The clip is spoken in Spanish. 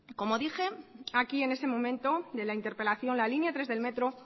como dije aquí en ese momento de la interpelación la línea tres del metro